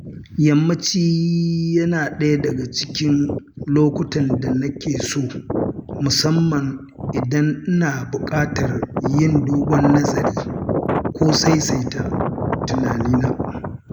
Yammaci yana ɗaya daga cikin lokutan da na ke so musamman idan ina buƙatar yin dogon nazari ko saisaita tunaina.